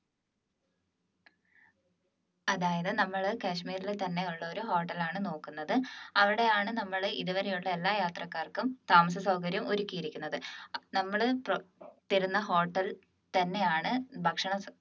അതായത് നമ്മള് കാശ്മീരിൽ തന്നെയുള്ള ഒരു hotel ആണ് നോക്കുന്നത് അവിടെയാണ് നമ്മൾ ഇതുവരെയുള്ള എല്ലാ യാത്രക്കാർക്കും താമസസൗകര്യം ഒരുക്കിയിരിക്കുന്നത് അപ്പൊ നമ്മള് ഏർ തരുന്ന ഹോട്ടലിൽ തന്നെയാണ് ഭക്ഷണ